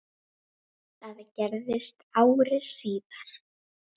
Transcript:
Hún svaf uns yfir lauk.